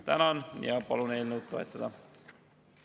Tänan ja palun eelnõu toetada!